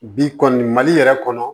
Bi kɔni mali yɛrɛ kɔnɔ